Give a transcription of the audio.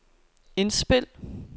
indspil